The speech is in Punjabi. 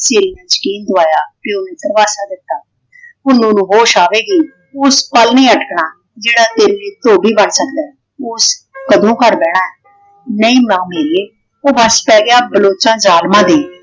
ਤੇ ਯਕੀਨ ਦਿਵਾਇਆ ਪਿਓ ਨੂੰ ਧਰਵਾਸਾ ਦਿੱਤਾ। ਪੁੰਨੂੰ ਨੂੰ ਹੋਸ਼ ਆਵੇਗੀ। ਉਸ ਪਲ ਨਹੀਂ ਅਟਕਣਾ। ਜਿਹੜਾ ਤੇਰੇ ਲਈ ਧੋਬੀ ਬਣ ਸਕਦਾ ਹੈ ਉਸ ਕਦੋ ਘਰ ਬਹਿਣਾ। ਨਹੀਂ ਮਾਂ ਮੇਰੀਏ ਉਹ ਵਸ ਚ ਪੈ ਗਿਆ ਬਲੋਚਾਂ ਜਾਲਮਾਂ ਦੇ